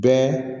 Bɛɛ